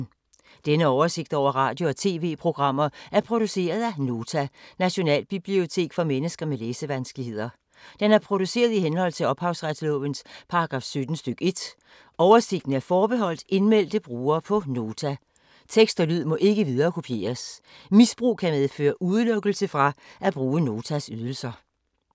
Denne oversigt over radio og TV-programmer er produceret af Nota, Nationalbibliotek for mennesker med læsevanskeligheder. Den er produceret i henhold til ophavsretslovens paragraf 17 stk. 1. Oversigten er forbeholdt indmeldte brugere på Nota. Tekst og lyd må ikke viderekopieres. Misbrug kan medføre udelukkelse fra at bruge Notas ydelser.